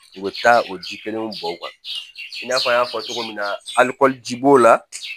U bɛ taa o ji kelen bɔ u kan i n'a fɔ an y'a fɔ cogo min na alikɔli ji b'o la